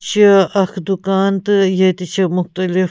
.چُھ اکھ دُکان تہٕ ییٚتہِ چھ مُختٔلِف